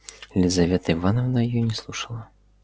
лизавета ивановна её не слушала